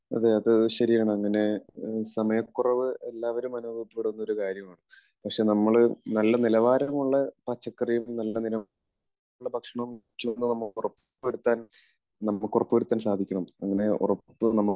അതെ അത് ശരിയാണ്. അങ്ങനെ സമയക്കുറവ് എല്ലാവരും അനുഭവപ്പെടുന്ന ഒരു കാര്യമാണ്. പക്ഷേ നമ്മൾ നല്ല നിലവാരമുള്ള പച്ചക്കറികൾ, നല്ല നിലവാരമുള്ള ഭക്ഷണം കഴിക്കണം എന്ന് നമുക്ക് ഉറപ്പുവരുത്താൻ, നമുക്ക് ഉറപ്പുവരുത്താൻ, സാധിക്കണം. അങ്ങനെ ഉറപ്പു നമുക്ക്